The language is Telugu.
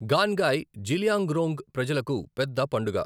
గాన్ న్గాయ్ జిలియాంగ్రోంగ్ ప్రజలకు పెద్ద పండుగ.